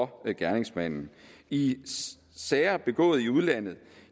gerningsmanden i sager begået i udlandet